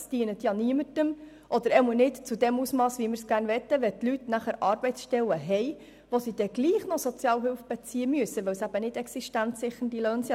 Es dient niemandem oder nicht im gewünschten Ausmass, wenn die Leute Arbeitsstellen haben und trotzdem noch Sozialhilfe beziehen müssen, weil sie nicht existenzsichernde Löhne erhalten.